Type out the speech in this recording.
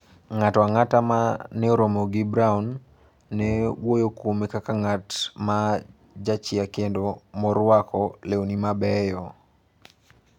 Ng'ato ang'ata ma ne oromo gi Browne ne wuoyo kuome kaka ng'at ma jachia kendo morwako lewni mabeyo.